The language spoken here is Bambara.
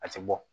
A tɛ bɔ